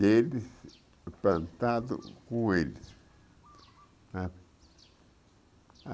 deles plantado com eles, sabe?